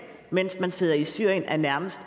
mens man sidder i syrien er nærmest